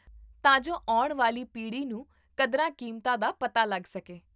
ਤਾਂ ਜੋ ਆਉਣ ਵਾਲੀ ਪੀੜ੍ਹੀ ਨੂੰ ਕਦਰਾਂ ਕੀਮਤਾਂ ਦਾ ਪਤਾ ਲੱਗ ਸਕੇ